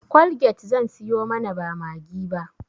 colgate zan siyo mana ba maggi ba